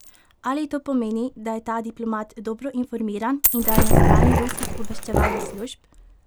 Ali to pomeni, da je ta diplomat dobro informiran in da je na strani ruskih obveščevalnih služb?